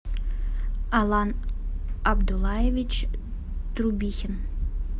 алан абдуллаевич трубихин